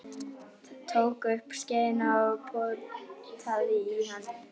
Tók upp skeiðina og potaði í hann.